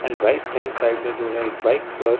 and right hand side में जो है एक बाइक पर--